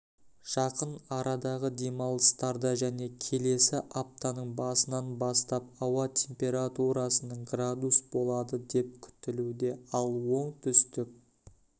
жақын арадағы демалыстарда және келесі аптаның басынан бастап ауа температурасының градус болады деп күтілуде ал оңтүстік